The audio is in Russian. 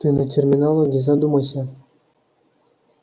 ты над терминологией задумайся